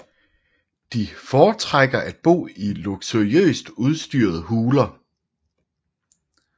De foretrækker at bo i luksuriøst udstyrede huler